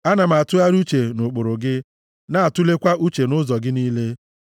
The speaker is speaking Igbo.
Ana m atụgharị uche nʼụkpụrụ gị na-atulekwa uche nʼụzọ gị niile.